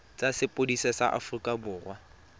tsa sepodisi sa aforika borwa